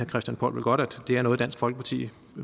christian poll vel godt at det er noget dansk folkeparti